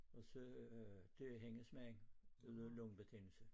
Og så øh dør hendes mand det var noget lungebetændelse